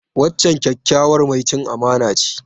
Wancan kyakkyawar mai cin amana ce.